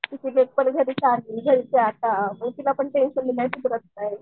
घरचे आता पण टेन्शन काय नाही